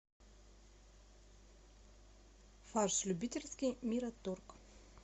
фарш любительский мираторг